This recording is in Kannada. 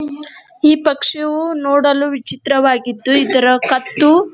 ಈ ಪಕ್ಷಿವು ನೋಡಲು ವಿಚಿತ್ರವಾಗಿದ್ದು ಇದರ ಕತ್ತು --